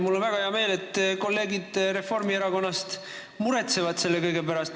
Mul on väga hea meel, et kolleegid Reformierakonnast selle kõige pärast muretsevad.